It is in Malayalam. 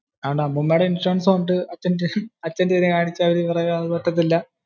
അതുകൊണ്ടു അമ്മൂമ്മേടെ ഇൻഷുറൻസ് കൊണ്ട് അച്ഛന്റെ ഇതി നു കാണിച്ചാൽ അവര് പറയും അതൊന്നും ഒക്കത്തില്ല.